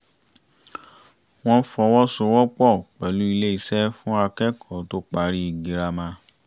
wọ́n fọwọ́sowọpọ̀ pẹ̀lú iléeṣẹ́ fún akẹ́kọ̀ọ́ tó parí girama